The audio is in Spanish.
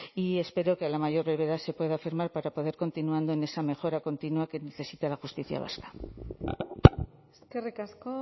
y espero que a la mayor brevedad se pueda firmar para poder continuar en esa mejora continua que necesita la justicia vasca eskerrik asko